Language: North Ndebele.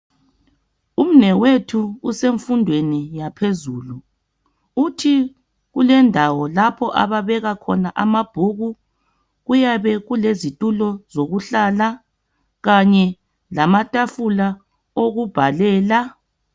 Umnewethu usemfundweni yaphezulu uthi kulendawo lapho ababeka khona amabhuku kuyabe kulezitulo zokuhlala kanye lamatafula okubhalela.